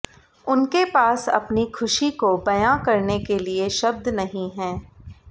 उनके पास अपनी खुशी को बयां करने के लिए शब्द नहीं हैं